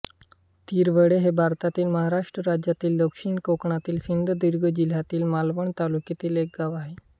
तिरवडे हे भारतातील महाराष्ट्र राज्यातील दक्षिण कोकणातील सिंधुदुर्ग जिल्ह्यातील मालवण तालुक्यातील एक गाव आहे